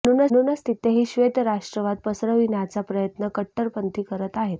म्हणूनच तिथेही श्वेत राष्ट्रवाद पसरविण्याचा प्रयत्न कट्टरपंथी करीत आहेत